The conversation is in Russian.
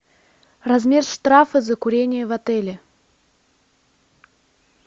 размер штрафа за курение в отеле